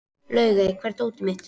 Laugey, hvar er dótið mitt?